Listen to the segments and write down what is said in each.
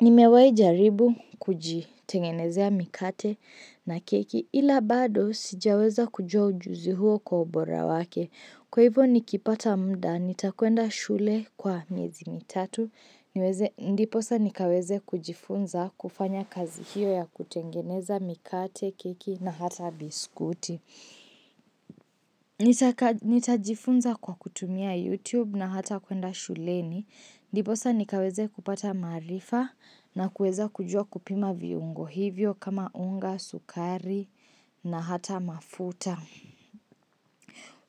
nimewahi jaribu kujitengenezea mikate na keki ila bado sijaweza kujua ujuzi huo kwa ubora wake. Kwa hivyo nikipata muda, nitakwenda shule kwa miezi mitatu niweze Ndiposa nikaweze kujifunza kufanya kazi hiyo ya kutengeneza mikate, keki na hata biskuti. Nitajifunza kwa kutumia YouTube na hata kuenda shuleni. Ndiposa nikaweze kupata maarifa na kueza kujua kupima viungo hivyo kama unga, sukari na hata mafuta.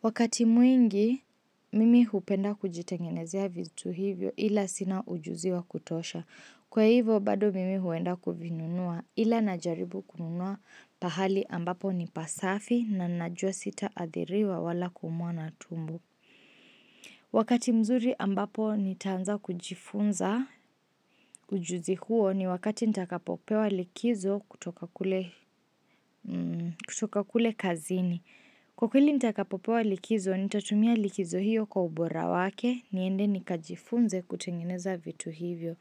Wakati mwingi, mimi hupenda kujitengenezea vitu hivyo ila sina ujuzi wa kutosha. Kwa hivyo, bado mimi huenda kuvinunua ila najaribu kununua pahali ambapo ni pasafi na najua sitaathiriwa wala kuumwa na tumbo. Wakati mzuri ambapo nitaanza kujifunza ujuzi huo ni wakati nitakapopewa likizo kutoka kule kutoka kule kazini. Kwa kweli nitakapopewa likizo nitatumia likizo hiyo kwa ubora wake niende nikajifunze kutengeneza vitu hivyo.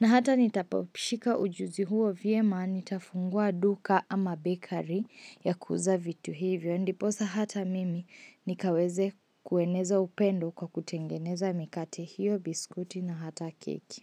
Na hata nitapopishika ujuzi huo vyema nitafungua duka ama bakery ya kuuza vitu hivyo. Ndiposa hata mimi nikaweze kueneza upendo kwa kutengeneza mikate hiyo biskuti na hata keki.